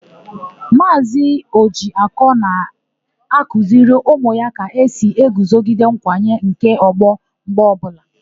Maazị Ọjịakọ na-akuziri ụmụ ya ka esi eguzogide nkwanye nke ọgbọ mgbe ọbụla.